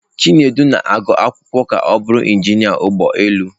Chinedu na-agụ akwụkwọ ka ọ bụrụ injinia ụgbọ elu.